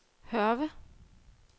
Hørve